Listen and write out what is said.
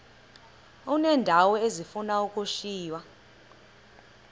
uneendawo ezifuna ukushiywa